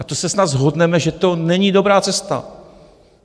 A to se snad shodneme, že to není dobrá cesta.